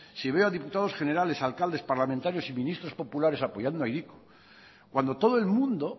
si veo a diputados generales alcaldes parlamentarios y ministros populares apoyando a hiriko cuando todo el mundo